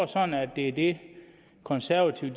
sådan at det er det konservative